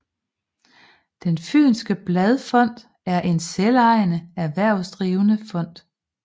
Den Fynske Bladfond er en selvejende erhvervsdrivende fond